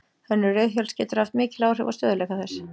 Hönnun reiðhjóls getur haft mikil áhrif á stöðugleika þess.